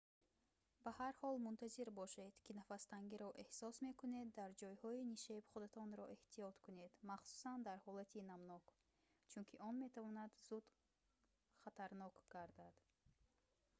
ба ҳар ҳол мунтазир бошед ки нафастангиро эҳсос мекунед дар ҷойҳои нишеб худатонро эҳтиёт кунед махсусан дар ҳолати намнок чунки он метавонад зуд хатарнок гардад